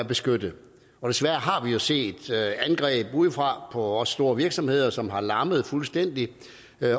beskyttede desværre har vi jo set angreb udefra på vores store virksomheder som har lammet dem fuldstændig